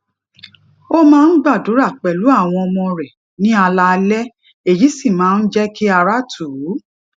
ó máa ń gbàdúrà pèlú àwọn ọmọ rè ní alaalé èyí sì máa ń jé kí ara tù ú